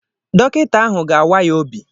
Dọkịta ahụ ga-awa ya obi.